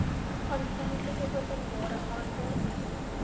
aanvanklike openbare aanbod